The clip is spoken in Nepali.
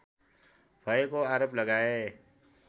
भएको आरोप लगाए